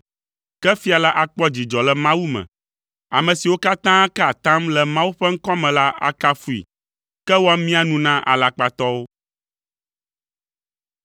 Ke fia la akpɔ dzidzɔ le Mawu me; ame siwo katã kaa atam le Mawu ƒe ŋkɔ me la akafui, ke woamia nu na alakpatɔwo.